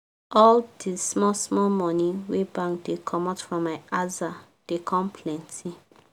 all d small small money wey bank da comot from my aza da come plenty